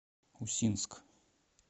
усинск